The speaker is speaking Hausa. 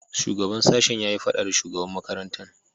Shugaban sashen ya yi fada da shugaban makarantan.